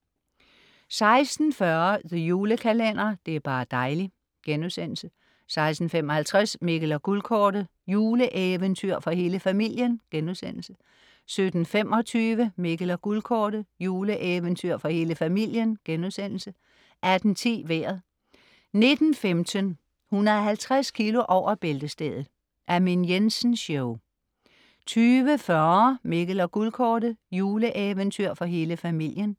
16.40 The Julekalender. Det er bar' dejli' * 16.55 Mikkel og Guldkortet. Juleeventyr for hele familien* 17.25 Mikkel og Guldkortet. Juleeventyr for hele familien* 18.10 Vejret 19.15 150 kg over bæltestedet. Amin Jensen Show 20.40 Mikkel og Guldkortet. Juleeventyr for hele familien